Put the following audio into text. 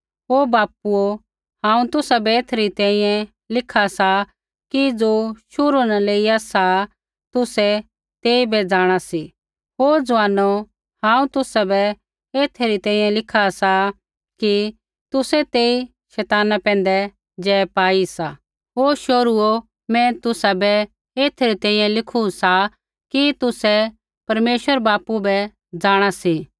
ओ बापूओ हांऊँ तुसाबै एथै री तैंईंयैं लिखा सा कि ज़ो शुरू न लेइया सा तुसैई तेइबै जाँणा सी हे ज़ुआनो हांऊँ तुसाबै एथै री तक लिखा सा कि तुसै तेई शैताना पैंधै जय पाई सा हे शोहरूओ मैं तुसाबै एथै री तैंईंयैं लिखू सा कि तुसै परमेश्वर बापू बै जाँणा सी